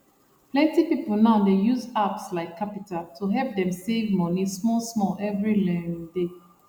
plenti people now dey use apps like qapital to help dem save money smallsmall every um day